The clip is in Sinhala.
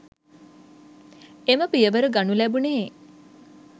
එම පියවර ගනු ලැබුණේ